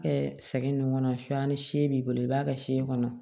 sɛgɛn nin kɔnɔ sonya ni see b'i bolo i b'a kɛ se kɔnɔ